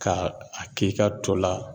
Ka a k'i ka to la